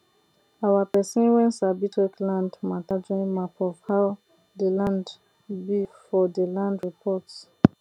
our pesin wen sabi check land mata join map of how dey land be for dey land reports